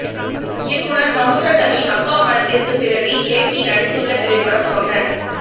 இயக்குனர் சமுத்திரக்கனி அப்பா படத்திற்கு பிறகு இயக்கி நடித்துள்ள திரைப்படம் தொண்டன்